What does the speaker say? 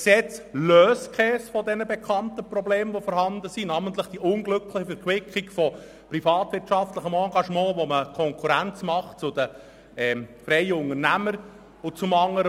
Es löst keines der vorhandenen und bekannten Probleme, wie die unglückliche Verquickung von Monopolbereich und privatwirtschaftlichem Engagement, wo man eine Konkurrenz zu den freien Unternehmern schafft.